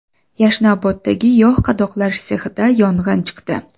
Yashnoboddagi yog‘ qadoqlash sexida yong‘in chiqdi .